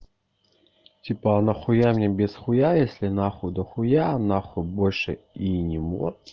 типа а на хуя мне без с хуя если нахуй до хуя на хуй больше и не мот